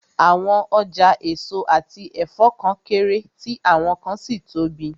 Àwọn ọjà èso àti ẹ̀fọ́ kan kéré, tí àwọn kan sì tóbi